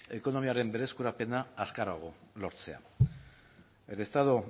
ekonomiaren berreskurapena azkarrago lortzea el estado